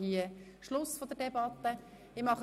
Jetzt schliessen wir die Debatte ab.